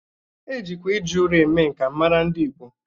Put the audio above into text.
E jikwa iji ụrọ eme nka mara ndị Igbo.